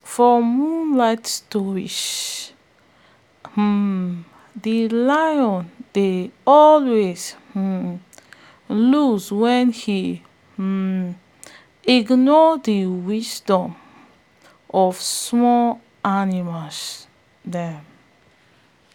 for moonlight stories um de lion dey always um lose wen he um ignore de wisdom of small animals dem